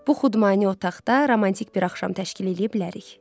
Bu xudmani otaqda romantik bir axşam təşkil eləyə bilərik.